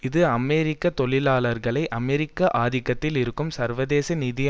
இது அமெரிக்க தொழிலாளர்களை அமெரிக்க ஆதிக்கத்தில் இருக்கும் சர்வதேச நிதி